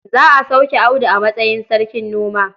Za a sauke Audu a matsayin sarkin noma.